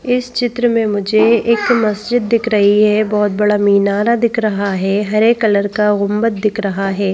इस चित्र में मुझे एक मस्जिद दिख रही है। बहोत बड़ा मिनारा दिख रहा है। हरे कलर का दिख रहा है।